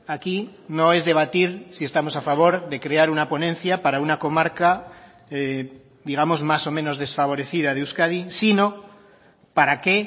aquí no es debatir si estamos a favor de crear una ponencia para una comarca digamos más o menos desfavorecida de euskadi sino para qué